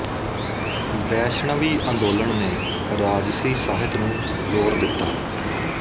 ਵੈਸ਼ਣਵੀ ਅੰਦੋਲਨ ਨੇ ਰਾਜਸੀ ਸਾਹਿਤ ਨੂੰ ਜੋਰ ਦਿੱਤਾ